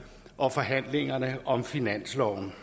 og forhandlingerne om finansloven